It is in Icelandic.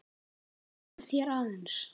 Vera með þér aðeins.